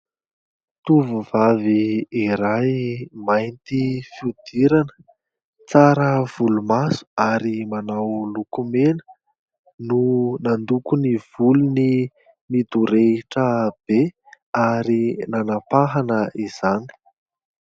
Tovovavy iray mainty fihodirana, tsara volomaso ary manao lokomena no nandoko ny volony midorehitra be ary nanampahana izany.